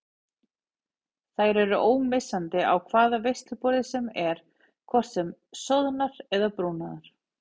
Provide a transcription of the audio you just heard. Þær eru ómissandi á hvaða veisluborði sem er hvort sem er soðnar eða brúnaðar.